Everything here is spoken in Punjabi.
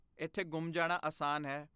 ਇੱਥੇ ਗੁੰਮ ਜਾਣਾ ਆਸਾਨ ਹੈ।